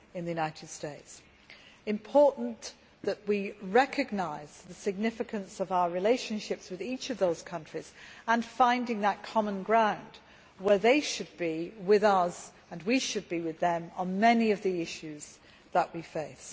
It is important that we recognise the significance of our relationships with each of these countries and find the common ground, where they should be with us and we should be with them, on many of the issues we face.